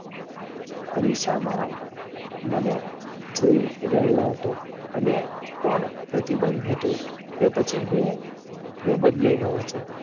અરીસામાં મને જોઈ રહ્યો હતો અને કોણ પ્રતિબંધ હતું કે પછી હું હું બદલાય ગયો છું.